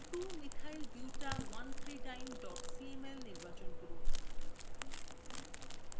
2methylbuta13diene cml নির্বাচন করুন